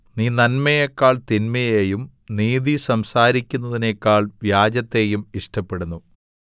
നീ നന്മയെക്കാൾ തിന്മയെയും നീതി സംസാരിക്കുന്നതിനേക്കാൾ വ്യാജത്തെയും ഇഷ്ടപ്പെടുന്നു സേലാ